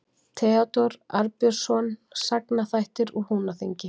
Theódór Arnbjörnsson: Sagnaþættir úr Húnaþingi.